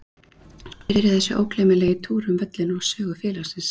Svo byrjaði þessi ógleymanlegi túr um völlinn og sögu félagsins.